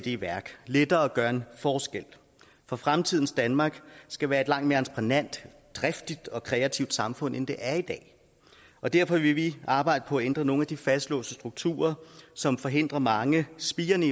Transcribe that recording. i værk lettere at gøre en forskel for fremtidens danmark skal være et langt mere entreprenant driftigt og kreativt samfund end det er i dag og derfor vil vi arbejde på at ændre nogle af de fastlåste strukturer som forhindrer mange spirende